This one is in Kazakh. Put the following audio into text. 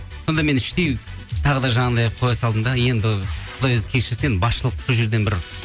сонда мен іштей тағы да жаңағындай қоя салдым да енді құдай өзі кешірсін енді басышылық сол жерден бір